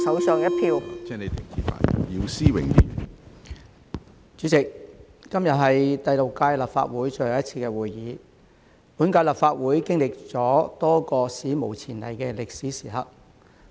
主席，今天是第六屆立法會最後一次會議，本屆立法會經歷了多個史無前例的歷史時刻。